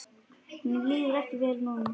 Honum líður ekki vel núna.